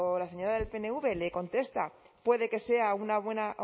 la señora del pnv le contesta puede que